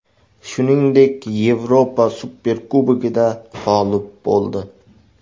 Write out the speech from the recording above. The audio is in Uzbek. Shuningdek, Yevropa Superkubogida g‘olib bo‘ldi.